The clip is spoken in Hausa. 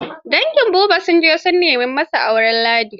Dangin Habu sun je su nema masa auren Ladi.